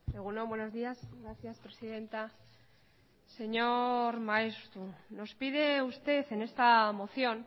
egun on buenos días gracias presidenta señor maeztu nos pide usted en esta moción